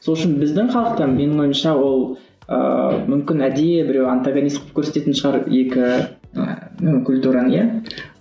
сол үшін біздің халықтан менің ойымша ол ыыы мүмкін әдейі біреу антогонист қылып көрсететін шығар екі ыыы культураны иә